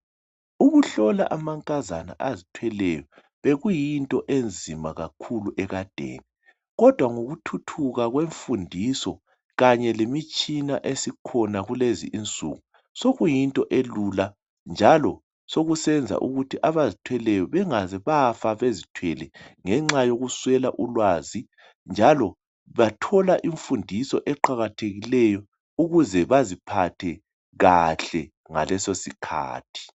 ukuhlola amankazana azithweleyo bekuyinto enzima kakhulu ekadeni kodwa ngokuthuthuka kwemfundiso kanye lemitshina esikhona kulezi insuku sokuyinto elula njalo sokusenza ukuthi abazithweleyo bangaze bafa bezithwele ngenxa yokuswela ulwazi njalo bathola imfundiso eqakathekileyo ukuze baziphathe kahle ngalesosikhathi